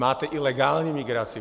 Máte i legální migraci.